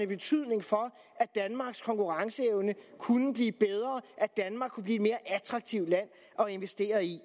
betydning for at danmarks konkurrenceevne kunne blive bedre at danmark kunne blive et mere attraktivt land at investere i